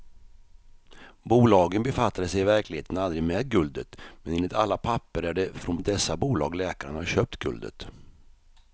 Bolagen befattade sig i verkligheten aldrig med guldet, men enligt alla papper är det från dessa bolag läkaren har köpt guldet.